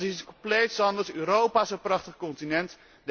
Dat is iets compleet anders. Europa is een prachtig continent.